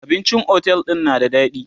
abincin otel ɗin na da daɗi